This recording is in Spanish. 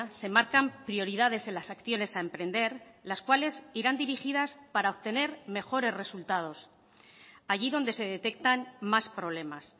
se marcan prioridades en las acciones a emprender las cuales irán dirigidas para obtener mejores resultados allí donde se detectan más problemas